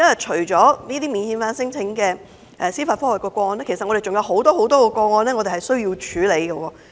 除免遣返聲請的司法覆核個案外，我們還有很多個案需要處理。